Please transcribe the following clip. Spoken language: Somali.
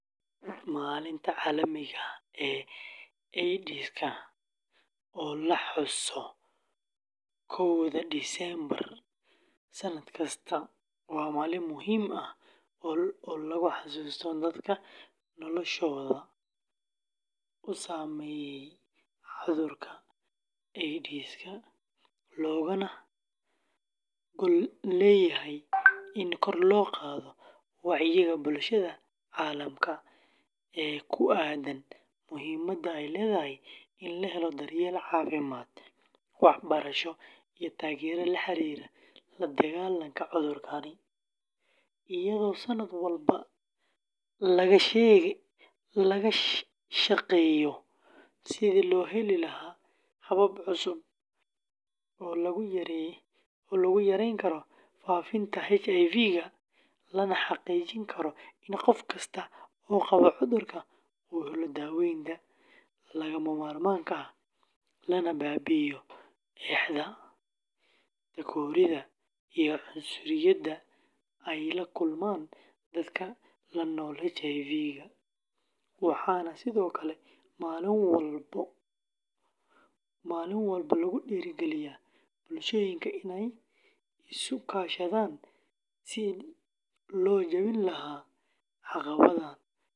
Maalinta Caalamiga ah ee AIDSka oo la xuso koowda Diseembar sanad kasta, waa maalin muhiim ah oo lagu xasuusto dadka noloshooda uu saameeyay cudurka AIDSka, loogana gol leeyahay in kor loo qaado wacyiga bulshada caalamka ee ku aaddan muhiimadda ay leedahay in la helo daryeel caafimaad, waxbarasho, iyo taageero la xiriirta la-dagaallanka cudurkan, iyadoo sanad walba laga shaqeeyo sidii loo heli lahaa habab cusub oo lagu yareyn karo faafitaanka HIVga, lana xaqiijin karo in qof kasta oo qaba cudurka uu helo daaweynta lagama maarmaanka ah, lana baabi’iyo eexda, takooridda iyo cunsuriyadda ay la kulmaan dadka la nool HIVga, waxaana sidoo kale maalin walba lagu dhiirrigeliyaa bulshooyinka inay isu kaashadaan sidii loo jabin lahaa caqabadaha jira.